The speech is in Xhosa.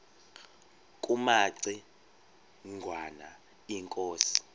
kumaci ngwana inkosi